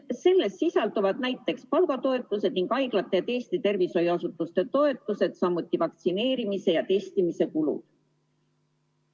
Selles sisalduvad näiteks palgatoetused ning haiglate ja teiste tervishoiuasutuste toetused, samuti vaktsineerimise ja testimise kulu.